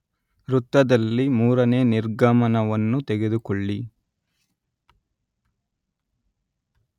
ವೃತ್ತದಲ್ಲಿ, ಮೂರನೇ ನಿರ್ಗಮನವನ್ನು ತೆಗೆದುಕೊಳ್ಳಿ